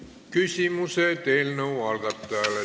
Küsimused eelnõu algatajale.